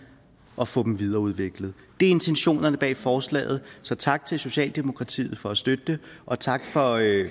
og får dem videreudviklet det er intentionerne bag forslaget så tak til socialdemokratiet for at støtte det og tak for i